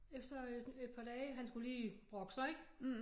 Efter øh et par dage han skulle lige brokke sig ik